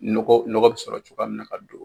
Nɔgɔ ,nɔgɔ bɛ sɔrɔ cogoya min na ka don,